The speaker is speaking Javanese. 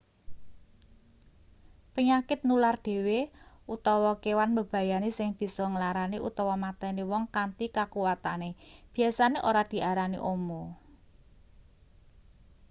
penyakit nular dhewe utawa kewan mbebayani sing bisa nglarani utawa mateni wong kanthi kakuwatane biasane ora diarani omo